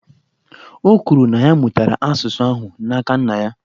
O kwuru, na ya mụtara asụsụ ahụ n’aka nna ya